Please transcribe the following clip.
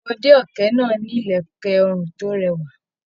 Ọmọde ọkẹ́ náà ni ilẹkẹ ọrun to rẹwa.